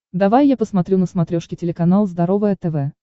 давай я посмотрю на смотрешке телеканал здоровое тв